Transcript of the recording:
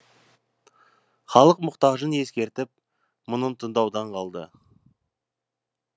халық мұқтажын ескеріп мұңын тыңдаудан қалды